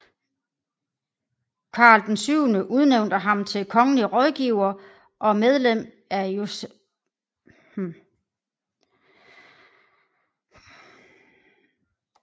Karl XII udnævnte ham til kongelig rådgiver og medlem af Justitierevisionen i 1712